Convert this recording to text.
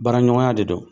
Baara ɲɔgɔnya de don